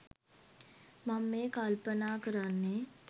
මං මේ කල්පනා කරන්නේ